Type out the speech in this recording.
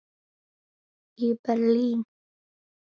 í Berlín.